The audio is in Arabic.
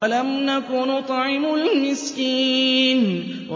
وَلَمْ نَكُ نُطْعِمُ الْمِسْكِينَ